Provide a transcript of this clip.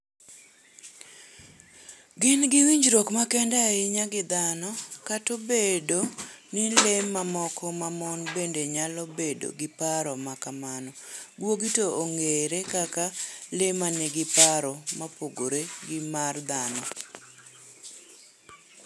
Gin gi winjruok makende ahinya gi dhano... Kata obedo ni le mamoko mamon bende nyalo bedo gi paro ma kamano, guogi to ong'ere kaka le ma nigi paro mopogore gi mag dhano.